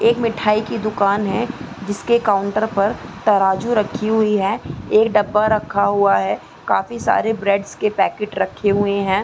एक मिठाई की दुकान है जिसके काउंटर पर तराजू रखी हुई है एक डब्बा रखा हुआ है काफी सारे ब्रेड्स के पैकेट रखे हुए है।